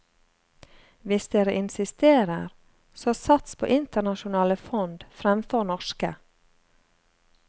Hvis dere insisterer, så sats på internasjonale fond fremfor norske.